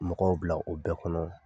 Mɔgɔw bila o bɛɛ kɔnɔ